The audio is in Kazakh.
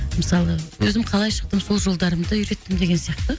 мысалы өзім қалай шықтым сол жолдарымды үйреттім деген сияқты